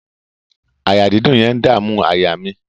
Àyà dídùn yẹn ń dàmú àyà mi.